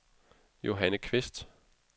Johanne Qvist